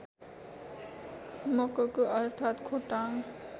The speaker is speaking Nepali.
मककु अर्थात् खोटाङ